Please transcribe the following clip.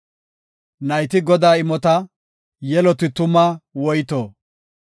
Nayti Godaa imota; yeloti tuma woyto.